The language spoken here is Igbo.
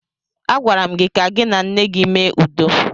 Agwara m gị ka gị na nne gị mee udo!